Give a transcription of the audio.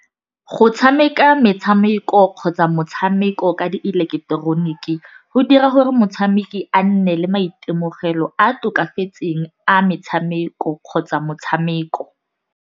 Go tshameka metshameko kgotsa motshameko ka di ileketeroniki, go dira gore motshameki a nne le maitemogelo a tokafetseng a metshameko kgotsa motshameko.